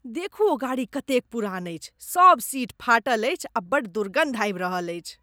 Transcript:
देखू ओ गाड़ी कतेक पुरान अछि। सभ सीट फाटल अछि आ बड्ड दुर्गन्ध आबि रहल अछि।